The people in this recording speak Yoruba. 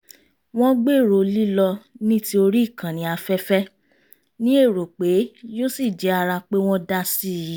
wọ́n gbèrò lílọ ní tí orí ìkànnì afẹ́fẹ́ ní èrò pé yóò sì jẹ́ ara pé wọ́n dá sí i